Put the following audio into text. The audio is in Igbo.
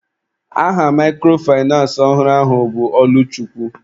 Aha microfinace ọhụrụ ahụ bụ Ọlụchukwu.